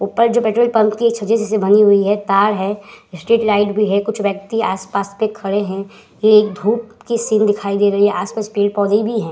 ऊपर जो petrol pump के छज्जे जैसे बनी हुई है तार है स्ट्रीट लाइट है। कुछ व्यक्ति आस-पास पे खड़े हैं। ये एक धूप की सीन दिखाई दे रही है। आस-पास पेड़-पौधे भी हैं।